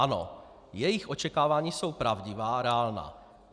Ano, jejich očekávání jsou pravdivá, reálná.